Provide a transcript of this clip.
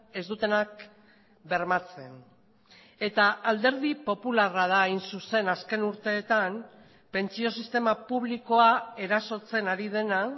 ez dutenak bermatzen eta alderdi popularra da hain zuzen azken urteetan pentsio sistema publikoa erasotzen ari dena